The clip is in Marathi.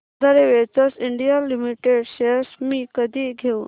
आधार वेंचर्स इंडिया लिमिटेड शेअर्स मी कधी घेऊ